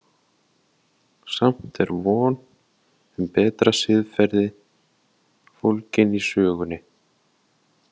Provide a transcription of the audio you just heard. Samt er von um betra siðferði fólgin í sögunni.